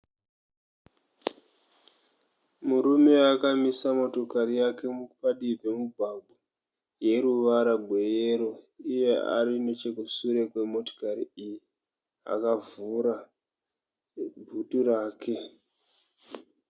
Murume akamisa motokari yake padivi pemugwagwa yeruvara rweyero, iye ari arinechekushure kwemotikari iyi akavhura bhutu rake.